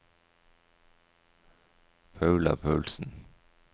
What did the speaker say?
Paula Paulsen